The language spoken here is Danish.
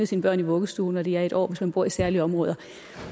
sine børn i vuggestue når de er en år hvis man bor i særlige områder